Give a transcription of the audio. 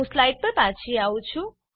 હું સ્લાઈડ પર પાછી આવી છું